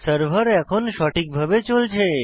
server এখন সঠিকভাবে চলছে